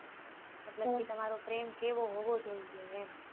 જેમ કે તમારો પ્રેમ કેવ હોવો જોઈએ એમ